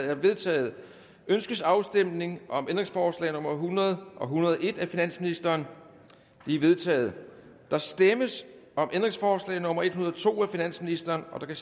er vedtaget ønskes afstemning om ændringsforslag nummer hundrede og en hundrede og en af finansministeren de er vedtaget der stemmes om ændringsforslag nummer en hundrede og to af finansministeren der